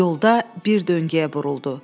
Yolda bir döngəyə buruldu.